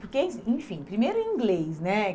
Porque, eh enfim, primeiro em inglês, né?